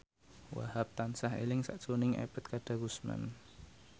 Wahhab tansah eling sakjroning Ebet Kadarusman